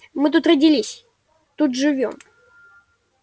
мы тут родились тут живём